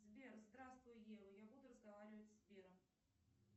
сбер здравствуй ева я буду разговаривать с сбером